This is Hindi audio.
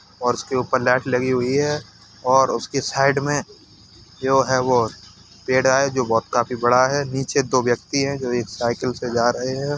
और इसके ऊपर लाइट लगी हुई हैं और उसकी साइड में जो है वो पेडा है जो बोहोत काफी बड़ा है। नीचे दो व्यक्ति हैं जो एक साइकिल से जा रहे हैं।